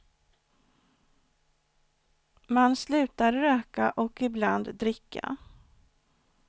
Man slutar röka och ibland dricka.